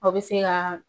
O bɛ se ka